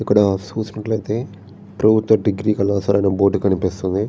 ఇక్కడ సూసినట్లైతే ప్రభుత్వ డిగ్రీ కళాశాల అనే బోర్డు కనిపిస్తుంది.